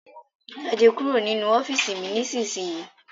Jáde kúrò nínu ọ́fììisí mí ní isísìnyíí!